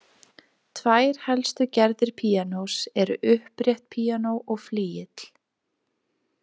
Tvær helstu gerðir píanós eru upprétt píanó og flygill.